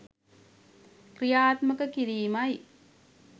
ක්‍රියාත්මක කිරීමයි.